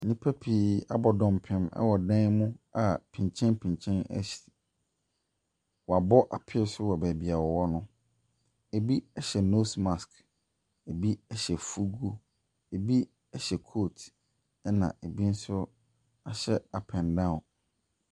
Nnipa pii abɔ dɔmpem wɔ dan mu a pinkyenpinkyen asi. Wɔabɔ apee so wɔ baabi a wɔwɔ no. Ɛbi hyɛ nose mask, ɛbi hyɛ fuugu, ɛbi hyɛ coat, ɛna ɛbi nso ahyɛ up and down.